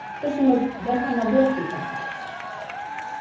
тілшіміз дархан абдуахит тарқатады